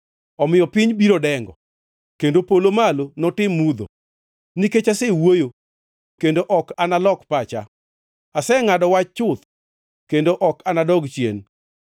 Omiyo piny biro dengo kendo polo malo notim mudho, nikech asewuoyo kendo ok analok pacha, asengʼado wach chuth kendo ok anadog chien.”